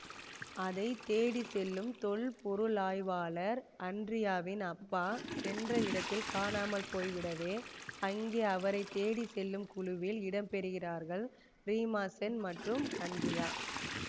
அதை தேடி செல்லும் தொல்பொருளாய்வாளர் அன்ரியாவின் அப்பா சென்ற இடத்தில் காணாமல் போய்விடவே அங்கே அவரை தேடி செல்லும் குழுவில் இடம்பெறுகிறார்கள் ரீமாசென் மற்றும் அன்ரியா